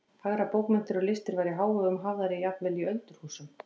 Fagrar bókmenntir og listir væru í hávegum hafðar jafnvel í öldurhúsum.